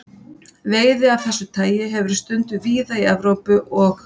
Veiði af þessu tagi hefur verið stunduð víða í Evrópu og